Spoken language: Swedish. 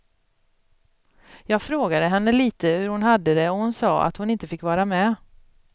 Jag frågade henne litet hur hon hade det och hon sade att hon inte fick vara med.